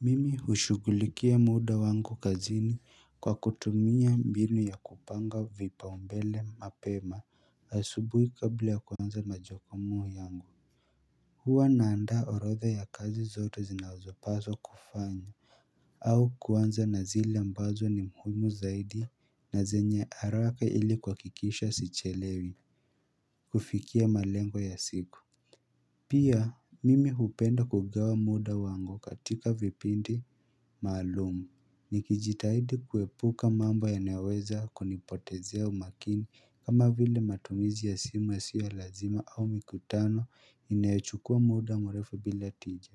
Mimi hushugulikia muda wangu kazini kwa kutumia mbinu ya kupanga vipau mbele mapema asubuhi kabla ya kuanza majukumu yangu hua naanda orodha ya kazi zote zinazopazwa kufanya au kuanza na zile ambazo ni muhimu zaidi na zenye haraka ili kuhakikisha sichelewi kufikia malengo ya siku Pia mimi hupenda kugawa muda wangu katika vipindi maalumu Nikijitahidi kuepuka mambo ya naweza kunipotezea umakini kama vile matumizi ya simu yasiyo lazima au mikutano inayochukua muda merefu bila tija